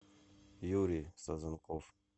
юрий сазанков